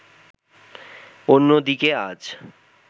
অন্যদিকে আজ